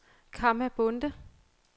Kamma Bonde